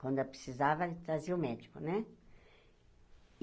Quando eu precisava, trazia o médico, né?